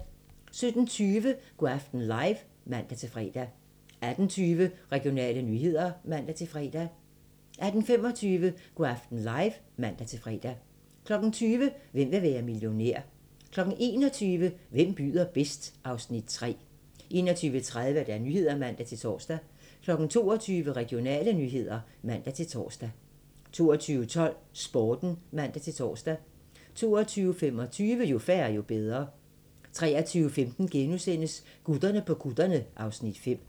17:20: Go' aften live (man-fre) 18:20: Regionale nyheder (man-fre) 18:25: Go' aften live (man-fre) 20:00: Hvem vil være millionær? 21:00: Hvem byder bedst? (Afs. 3) 21:30: Nyhederne (man-tor) 22:00: Regionale nyheder (man-tor) 22:12: Sporten (man-tor) 22:25: Jo færre, jo bedre 23:15: Gutterne på kutterne (Afs. 5)*